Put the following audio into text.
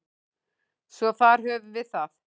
Svo þar höfum við það.